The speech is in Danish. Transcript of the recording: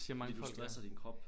Fordi du stresser din krop